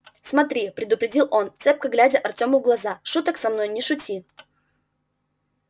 смотри предупредил он цепко глядя артёму в глаза шуток со мной не шути